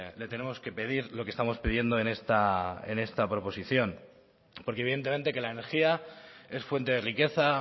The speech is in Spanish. le tenemos que pedir lo que estamos pidiendo en esta proposición porque evidentemente que la energía es fuente de riqueza